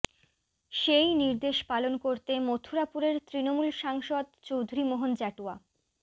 সেই নির্দেশ পালন করতে মথুরাপুরের তৃণমূল সাংসদ চৌধুরী মোহন জাটুয়া